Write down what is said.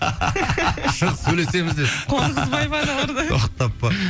шық сөйлесеміз де тоқтап па